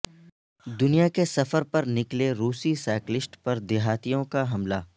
دنیا کے سفر پر نکلے روسی سائیکلسٹ پردیہاتیوں کا حملہ